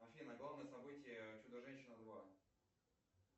афина главные события чудо женщина два